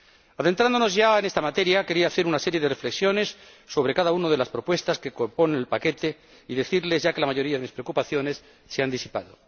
Adentrándonos ya en esta materia, querría hacer una serie de reflexiones sobre cada una de las propuestas que componen el paquete y decirles ya que la mayoría de mis preocupaciones se han disipado.